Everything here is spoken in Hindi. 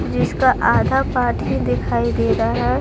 इसका जिसका आधा पार्ट ही दिखाई दे रहा है।